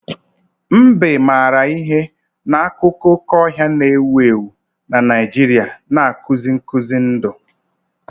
Mbe maara ihe na akụkọ oke ọhịa na-ewu ewu na Naijiria na-akụzi nkuzi ndụ.